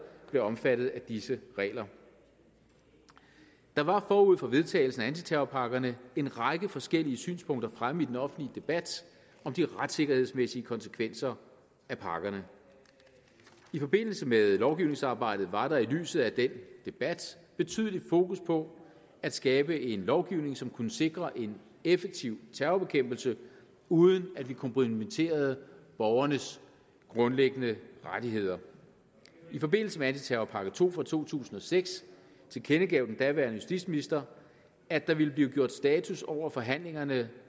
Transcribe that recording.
blev omfattet af disse regler der var forud for vedtagelsen af antiterrorpakkerne en række forskellige synspunkter fremme i den offentlige debat om de retssikkerhedsmæssige konsekvenser af pakkerne i forbindelse med lovgivningsarbejdet var der i lyset af den debat betydeligt fokus på at skabe en lovgivning som kunne sikre en effektiv terrorbekæmpelse uden at vi kompromitterede borgernes grundlæggende rettigheder i forbindelse med antiterrorpakke to fra to tusind og seks tilkendegav den daværende justitsminister at der ville blive gjort status over forhandlingerne